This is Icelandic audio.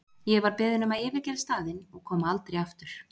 Ég var beðin um að yfirgefa staðinn og koma aldrei aftur.